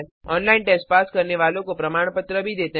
online test pass करने वालों को प्रमाणपत्र देते हैं